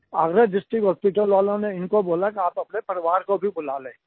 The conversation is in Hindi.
अग्रा डिस्ट्रिक्ट हॉस्पिटल वालों ने इनको बोला कि आप अपने परिवार को भी बुला लें